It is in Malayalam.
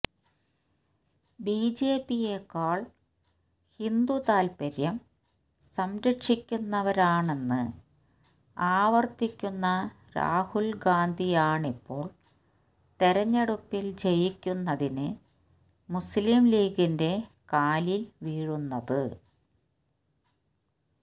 ബിജെപിയേക്കാൾ ഹിന്ദുതാൽപ്പര്യം സംരക്ഷിക്കുന്നവരാണെന്ന് ആവർത്തിക്കുന്ന രാഹുൽ ഗാന്ധിയാണിപ്പോൾ തെരഞ്ഞെടുപ്പിൽ ജയിക്കുന്നതിന് മുസ്ലിംലീഗിന്റെ കാലിൽ വീഴുന്നത്